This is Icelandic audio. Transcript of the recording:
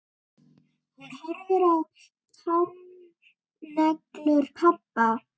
Hún horfir á táneglur pabba.